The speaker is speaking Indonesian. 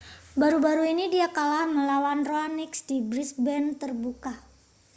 baru-baru ini dia kalah melawan raonic di brisbane terbuka